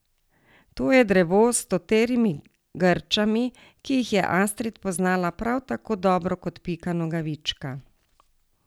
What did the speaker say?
To je drevo s stoterimi grčami, ki jih je Astrid poznala prav tako dobro kot Pika Nogavička.